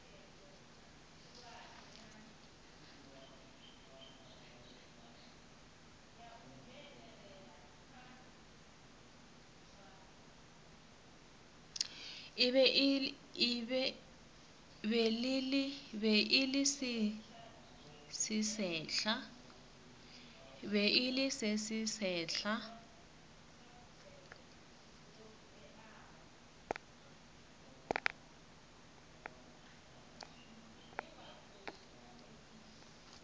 be e le se sesehla